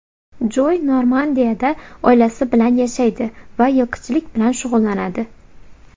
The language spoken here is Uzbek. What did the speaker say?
Joy Normandiyada oilasi bilan yashaydi va yilqichilik bilan shug‘ullanadi.